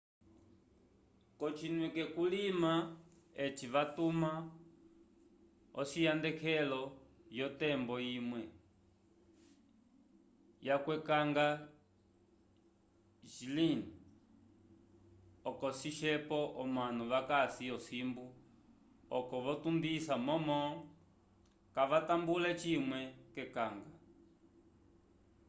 kocinwike culima eci vatuma ociyahendeleko yo tembo imwe ya ukwekanga glynn oco cisyepo omanu vakasi osimbu oco vo tundisa momo kavatambule cimwe ke kanga